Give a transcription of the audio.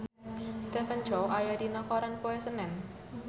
Stephen Chow aya dina koran poe Senen